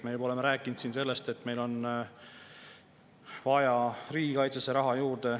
Me juba oleme rääkinud sellest, et meil on vaja riigikaitsesse raha juurde.